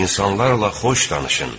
İnsanlarla xoş danışın.